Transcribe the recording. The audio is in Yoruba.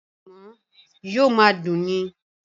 Ànàmọ́ yóò máa dùn ni.